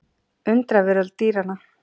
Undraveröld dýranna.